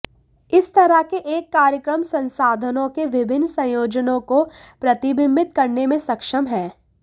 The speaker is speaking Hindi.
इस तरह के एक कार्यक्रम संसाधनों के विभिन्न संयोजनों को प्रतिबिंबित करने में सक्षम है